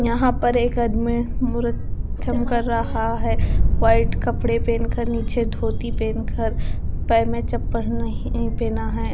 यहां पर एक आदमी कर रहा है वाइट कपड़े पेहनकर नीचे धोती पेहनकर पैर में चप्पल नहीं पहना है।